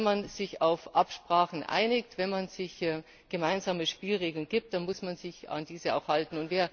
Und wenn man sich auf Absprachen einigt, wenn man sich gemeinsame Spielregeln gibt, dann muss man sich an diese auch halten!